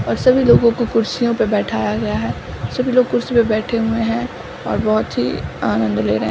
और सभी लोगों को कुर्सियों पे बैठाया गया है सभी लोग कुर्सी पे बैठे हुए हैं और बहुत ही आनंद ले रहे --